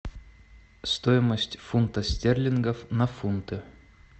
стоимость фунта стерлингов на фунты